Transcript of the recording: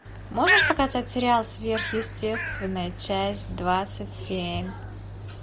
можешь показать сериал сверхъестественное часть двадцать семь